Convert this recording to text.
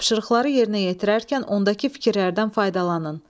Tapşırıqları yerinə yetirərkən ondakı fikirlərdən faydalanın.